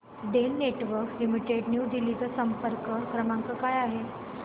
Den networks limited new Delhi चा संपर्क क्रमांक काय आहे